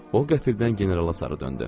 O qəfildən generala sarı döndü.